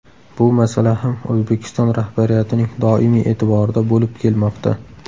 Bu masala ham O‘zbekiston rahbariyatining doimiy e’tiborida bo‘lib kelmoqda.